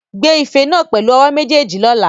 Gbé ife náà pẹ̀lú ọwọ́ méjèèjì lọ́la.